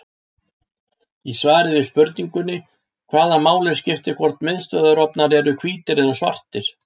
Í svari við spurningunni Hvaða máli skiptir hvort miðstöðvarofnar eru hvítir eða svartir?